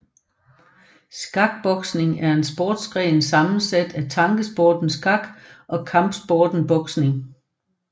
Skakboksning er en sportsgren sammensat af tankesporten skak og kampsporten boksning